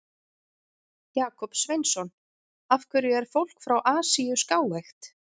Jakob Sveinsson: Af hverju er fólk frá Asíu skáeygt?